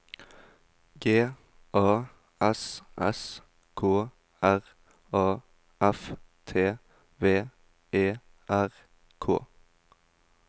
G A S S K R A F T V E R K